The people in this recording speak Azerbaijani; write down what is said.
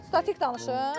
Statik danışım.